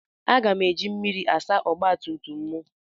Aga m eji mmiri asa ọgba tum tum m.